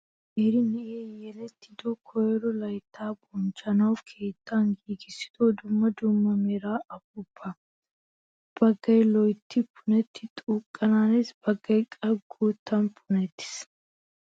Qeeri na"ayi yelettido koyiro layitta bonchchanawu keettan giigissido dumma dumma mera upuuppaa. Baggayi loyitti punettidi xuuqqanaanes baggayi qa guuttaa punettis.